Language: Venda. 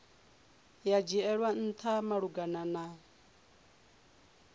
ya dzhielwa ntha malugana na